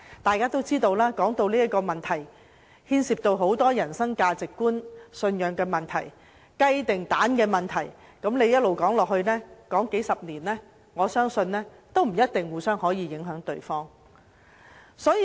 眾所周知，這個問題牽涉很多價值觀和信仰問題，是"雞與雞蛋"的問題，即使繼續說下去，花數十年亦未必可以改變彼此的看法。